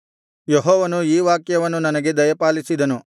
ಯೆಹೋವನು ಈ ವಾಕ್ಯವನ್ನು ನನಗೆ ದಯಪಾಲಿಸಿದನು